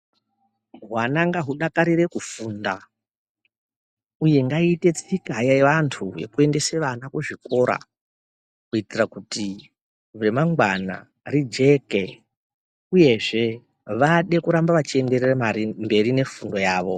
Hwana ngahudakarire kufunda, uye ngaiite tsika yevantu yekuendesa vana kuzvikora, kuitira kuti remangwana rijeke uyezve vade kurambe vechienderere mberi nefundo yavo.